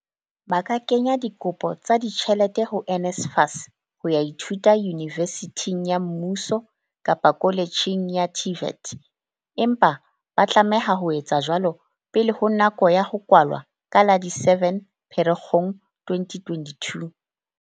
Ba ka kenya dikopo tsa di tjhelete ho NSFAS ho ya ithuta yunivesithing ya mmuso kapa koletjheng ya TVET, empa ba tlameha ho etsa jwalo pele ho nako ya ho kwalwa ka la di 7 Pherekgong 2022.